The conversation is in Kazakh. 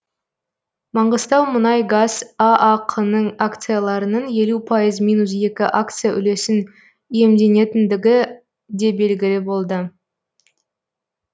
маңғыстаумұнайгаз аақ ның акцияларының елу пайыз минус екі акция үлесін иемденетіндігі де белгілі болды